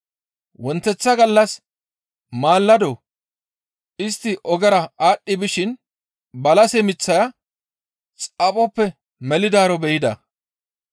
Wonteththa gallas maalado istti ogera aadhdhi bishin balase miththaya xaphoppe melidaaro be7ida.